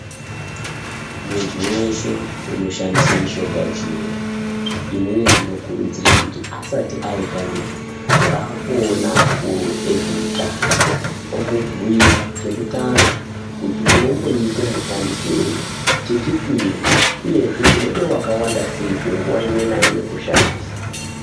Muntu weshe unoshandise mishonga yechiyungu ini ndinokurudzire kuti asati aishandisa ngaamboona akuru ezveutano ,omubhuira chekutanga kuti unomboiite mushandisirei ,chechipiri uyezve kuti unode wakawandasei panguwa imwe naimwe kushandisa.